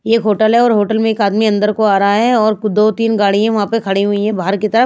ये एक होटल है और होटल में एक आदमी अंदर को आ रहा है और दो तीन गाड़ियां वहाँ पर खड़ी हुई है बाहर की तरह--